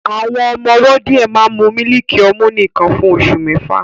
Àwọn ọmọ ọwọ́ díẹ̀ máa ń mu mílìkì ọmú nìkan fún oṣù mẹ́fà